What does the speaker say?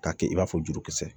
K'a kɛ i n'a fɔ jurukisɛ